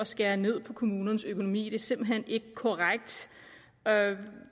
skære ned på kommunernes økonomi det er simpelt hen ikke korrekt